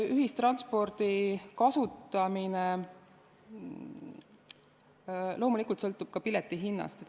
Ühistranspordi kasutamine sõltub loomulikult ka piletihinnast.